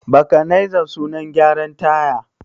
Bakanaiza suna gyaran taya.